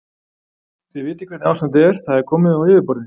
Þið vitið hvernig ástandið er, það er komið á yfirborðið.